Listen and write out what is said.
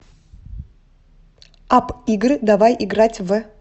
апп игры давай играть в